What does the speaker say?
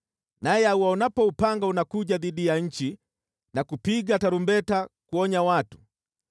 naye auonapo upanga unakuja dhidi ya nchi na kupiga tarumbeta kuonya watu,